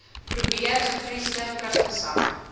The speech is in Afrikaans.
probeer gevriesde vrugtesap